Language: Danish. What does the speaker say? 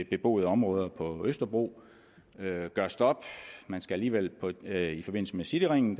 beboede områder på østerbro har et stop man skal alligevel i forbindelse med cityringen